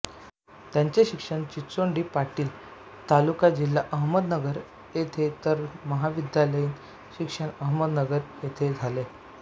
त्यांचे शिक्षण चिचोंडी पाटील ता जि अहमदनगर येथे तर महाविदयालयीन शिक्षण अहमदनगर येथे झाले